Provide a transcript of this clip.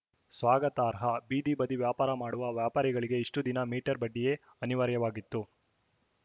ಸ್ವಾಗತಾರ್ಹ ಬೀದಿ ಬದಿ ವ್ಯಾಪಾರ ಮಾಡುವ ವ್ಯಾಪಾರಿಗಳಿಗೆ ಇಷ್ಟುದಿನ ಮೀಟರ್‌ ಬಡ್ಡಿಯೇ ಅನಿವಾರ್ಯವಾಗಿತ್ತು